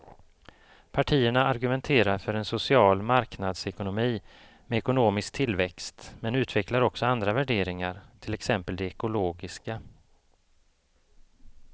Partierna argumenterar för en social marknadsekonomi med ekonomisk tillväxt men utvecklar också andra värderingar, till exempel de ekologiska.